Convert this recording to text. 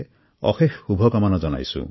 সকলোকে মোৰ আন্তৰিক অভিনন্দন